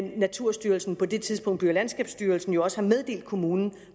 naturstyrelsen på det tidspunkt by og landskabsstyrelsen jo også har meddelt kommunen